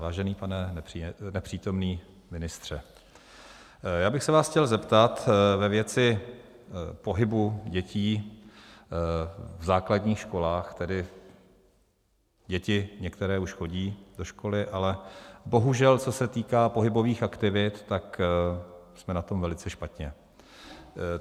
Vážený pane nepřítomný ministře, já bych se vás chtěl zeptat ve věci pohybu dětí v základních školách - tedy děti některé už chodí do školy, ale bohužel, co se týká pohybových aktivit, tak jsme na tom velice špatně.